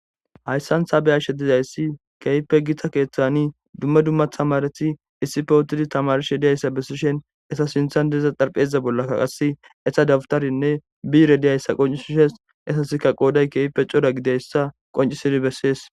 hayssantha beyashe dizayssi keeype gita keeththani dumma dumma tamareti issi fowotidi tamarshe diyayssa bessishen esa sinthan deeza xarpheza bollakka qase esa dawutarinne bire diyayssa qoncisishes esasika qooday keeype coda gideyssa qoncisidi bessees